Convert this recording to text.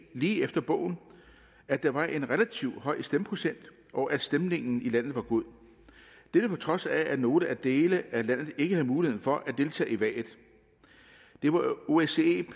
lige efter bogen at der var en relativt høj stemmeprocent og at stemningen i landet var god dette på trods af at nogle dele af landet ikke havde mulighed for at deltage i valget det var osce